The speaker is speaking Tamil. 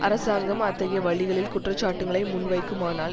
அரசாங்கம் அத்தகைய வழிகளில் குற்றச்சாட்டுக்களை முன்வைக்குமானால்